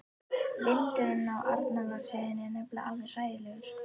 Vindurinn á Arnarvatnsheiði er nefnilega alveg hræðilegur.